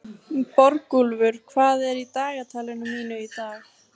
Borgúlfur, hvað er í dagatalinu mínu í dag?